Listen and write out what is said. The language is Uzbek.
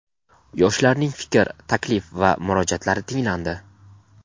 Yoshlarning fikr, taklif va murojaatlari tinglandi.